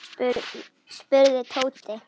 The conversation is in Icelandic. spurði Tóti.